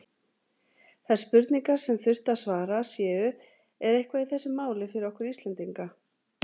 Þær spurningar, sem þurfi að svara séu: Er eitthvað í þessu máli fyrir okkur Íslendinga?